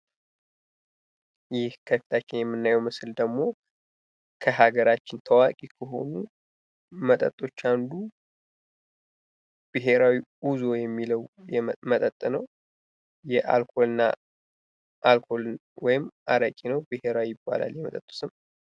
ይህ ከፊታችን የምናየው ምስል ደግሞ በሀገራችን ታዋቂ ከሆኑ መጠጦች አንዱ ብሔራዊ ኡዞ የሚለው መጠጥ ነው። የአልኮልና አልኮል ነው ወይም አረቂ ነው። ብሔራዊ ይባላል የመጠጡ ስም።